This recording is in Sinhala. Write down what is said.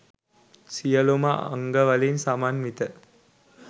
සියලුම අංගවලින් සමන්විත